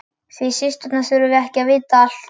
Þið systurnar þurfið ekki að vita allt.